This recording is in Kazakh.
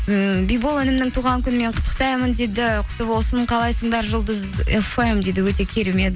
ммм бибол інімнің туған күнімен құттықтаймын дейді құтты болсын қалайсыңдар жұлдыз фм дейді өте керемет